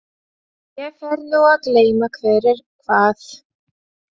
Ég fer nú að gleyma hver er hvað.